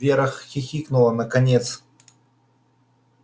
вера хихикнула наконец